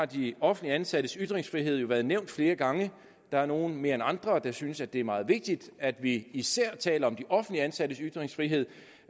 de offentligt ansattes ytringsfrihed jo blevet nævnt flere gange der er nogle der mere end andre synes det er meget vigtigt at vi især taler om de offentligt ansattes ytringsfrihed